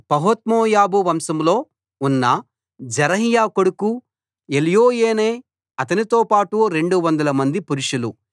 పహత్మోయాబు వంశంలో ఉన్న జెరహ్య కొడుకు ఎల్యోయేనై అతనితో పాటు 200 మంది పురుషులు